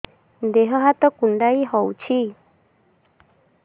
ଦେହ ହାତ କୁଣ୍ଡାଇ ହଉଛି